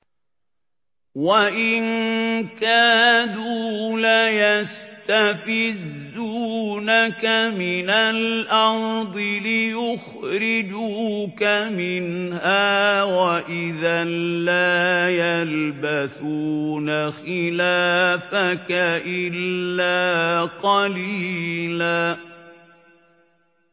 وَإِن كَادُوا لَيَسْتَفِزُّونَكَ مِنَ الْأَرْضِ لِيُخْرِجُوكَ مِنْهَا ۖ وَإِذًا لَّا يَلْبَثُونَ خِلَافَكَ إِلَّا قَلِيلًا